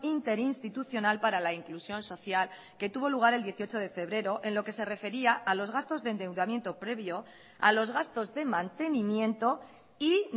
interinstitucional para la inclusión social que tuvo lugar el dieciocho de febrero en lo que se refería a los gastos de endeudamiento previo a los gastos de mantenimiento y